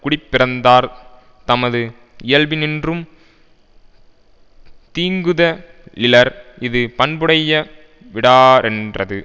குடிப்பிறந்தார் தமது இயல்பினின்றும் தீங்குத லிலர் இது பண்புடைய விடாரென்றது